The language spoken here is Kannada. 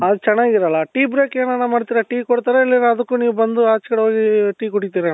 ಅಲ್ಲಿ ಚೆನ್ನಾಗಿರಲ್ಲ Tea break ಎನಾನ ಮಾಡ್ತೀರ tea ಕೊಡ್ತಾರ ಇಲ್ಲರ ಅದಕ್ಕು ನೀವ್ ಬಂದು ಅಚೆ ಕಡೆ ಹೋಗಿ tea ಕುಡಿತೀರ ಅಣ್ಣ